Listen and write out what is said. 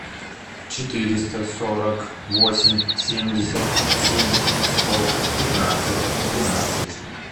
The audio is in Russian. четыреста сорок восемь семьдесят семь сто пятнадцать двенадцать